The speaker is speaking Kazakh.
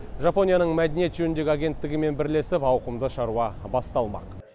жапонияның мәдениет жөніндегі агенттігімен бірлесіп ауқымды шаруа басталмақ